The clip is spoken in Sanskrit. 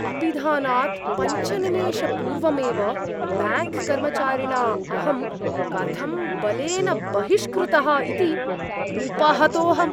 अपिधानात् पञ्च निमेषपूर्वमेव ब्याङ्क्कर्मचारिणा अहं कथं बलेन बहिष्कृतः इति उपहतोहम्।